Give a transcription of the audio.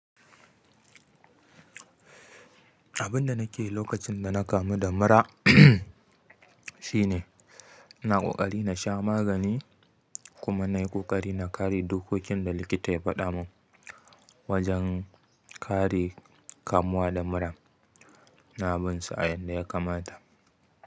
Abin da nake yi lokacin da na kamu da mura shine, ina ƙoƙari na sha magani kuma na yi ƙoƙari na kare dokokin da likita ya faɗa mun wajen kare kamuwa da mura ina binsu a yanda ya kamata.